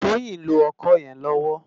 Toyin n ló òkò yèn lòwò